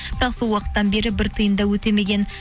бірақ сол уақыттан бері бір тиын да өтемеген